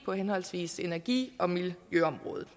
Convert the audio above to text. på henholdsvis energi og miljøområdet